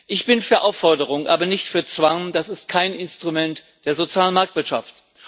Ich bin für Aufforderung aber nicht für Zwang, das ist kein Instrument der sozialen Marktwirtschaft.